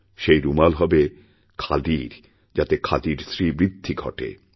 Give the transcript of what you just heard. সে রুমাল হবে খাদির যাতে খাদির শ্রীবৃদ্ধিঘটে